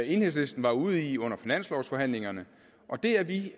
enhedslisten var ude i under finanslovsforhandlingerne og det er vi